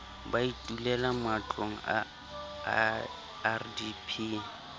ba itulela matlong a rdp